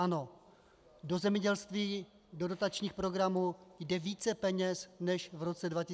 Ano, do zemědělství, do dotačních programů jde více peněz než v roce 2013, reálně.